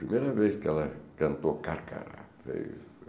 Primeira vez que ela cantou Carcará. É isso